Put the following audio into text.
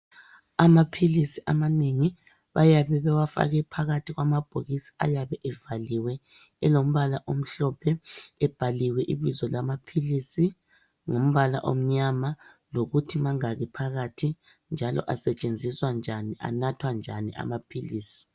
Amaphilisi amanengi bayabe bewafake phakathi kwamabhokisi ayabe evaliwe elombala omhlophe ebhaliwe ibizo lamaphilisi ngumbala omnyama lokuthi mangaki phakathi njalo asetshenziswa njani, anathwa njani amaphilisi.